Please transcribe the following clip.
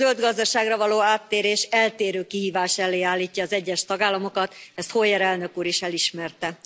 A zöld gazdaságra való áttérés eltérő kihívás elé állítja az egyes tagállamokat, ezt Hoyer Elnök Úr is elismerte.